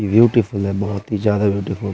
beautiful है बोहोत ही ज्यादा ब्यूटीफुल --